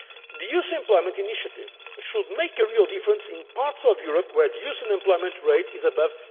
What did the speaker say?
a reality. The Youth Employment Initiative should make a real difference in parts of Europe where the youth unemployment rate